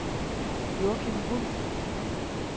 Joachim Wulff